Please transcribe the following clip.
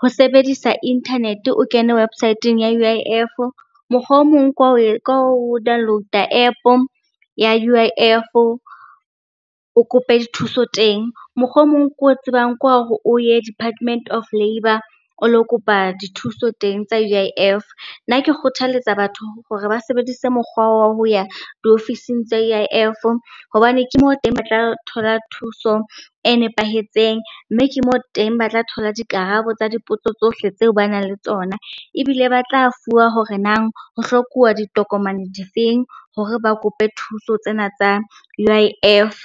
ho sebedisa internet-e o kene website-eng ya U_I_F, mokgwa o mong ke wa ho download-a App ya U_I_F o kope dithuso teng, mokgwa o mong ke o tsebang ke wa hore o ye Department of Labour o lo kopa dithuso teng tsa U_I_F. Nna ke kgothaletsa batho hore ba sebedise mokgwa wa ho ya diofising tsa U_I_F hobaneng ke moo teng ba tla thola thuso e nepahetseng, mme ke moo teng ba tla thola dikarabo tsa dipotso tsohle tseo ba nang le tsona. Ebile ba tla fuwa hore nang ho hlokuwa ditokomane difeng hore ba kope thuso tsena tsa U_I_F.